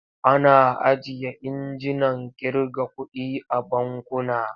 Ana ajiye injinan ƙirga kuɗi a bankuna.